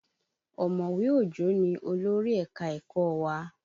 Omowe Òjó ni olórí ẹ̀ka-ẹ̀kọ́ wa.